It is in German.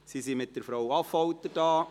Sie sind mit Frau Affolter hier.